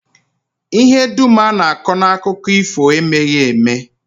Ihe dum a na-akọ n'akụkọ ifo emeghị eme